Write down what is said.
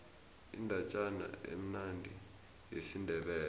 indatjana emnandi yesindebele